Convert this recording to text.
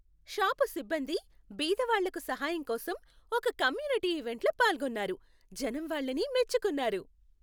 Shop సిబ్బంది బీదవాళ్లకు సహాయం కోసం ఒక కమ్యూనిటీ ఈవెంట్లో పాల్గొన్నారు, జనం వాళ్ళని మెచ్చుకున్నారు.